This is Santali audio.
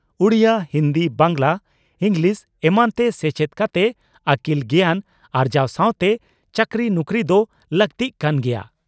ᱩᱰᱤᱭᱟᱹ, ᱦᱤᱱᱫᱤ, ᱵᱟᱝᱜᱽᱞᱟ, ᱤᱸᱜᱽᱞᱤᱥ ᱮᱢᱟᱱᱛᱮ ᱥᱮᱪᱮᱫ ᱠᱟᱛᱮ ᱟᱹᱠᱤᱞ ᱜᱮᱭᱟᱱ ᱟᱨᱡᱟᱣ ᱥᱟᱣᱛᱮ ᱪᱟᱹᱠᱨᱤ ᱱᱩᱠᱨᱤ ᱫᱚ ᱞᱟᱹᱠᱛᱤᱜ ᱠᱟᱱ ᱜᱮᱭᱟ ᱾